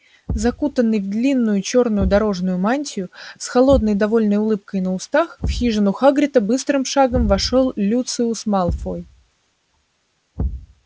закутанный в длинную чёрную дорожную мантию с холодной довольной улыбкой на устах в хижину хагрида быстрым шагом вошёл люциус малфой